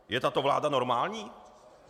Je tato vláda normální?